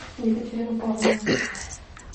екатерину павловну